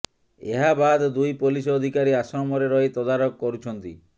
ଏହାବାଦ ଦୁଇ ପୋଲିସ ଅଧିକାରୀ ଆଶ୍ରମରେ ରହି ତଦାରଖ କରୁଛନ୍ତି